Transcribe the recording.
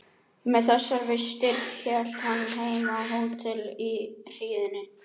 Með þessar vistir hélt hann heim á hótel í hríðinni.